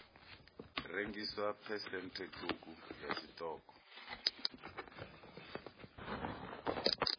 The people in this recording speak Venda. rengiswa phesenthe ṱhukhu ya tshiṱoko